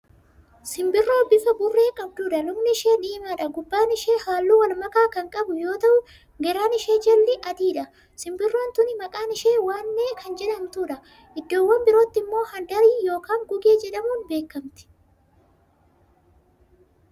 Simbirroo bifa burree qabduudha. lukni ishee diimaadha. gubbaan ishee halluu walmakaa Kan qabu yoo ta'u garaan ishee jalli adiidha. simbirroon tuni maqaan ishee waneee Kan jedhamtuudha. iddoowwaan birootti immoo handarii yookaan gugee jedhamuun beekamti.